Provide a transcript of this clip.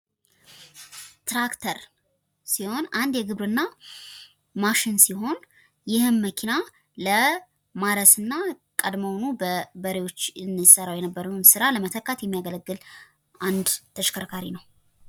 ትራክተር ሲሆን፤ አንድ የግብርና ማሽን ነው። ይህም መኪና ለማረስና ቀድሞ በበሬ የሚሰራውን ስራ ለመተካት የሚያገለግል ተሽከርካሪ መኪና ነው።